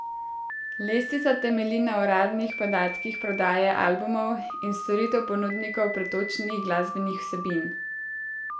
Lestvica temelji na uradnih podatkih prodaje albumov in storitev ponudnikov pretočnih glasbenih vsebin.